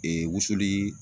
wusuli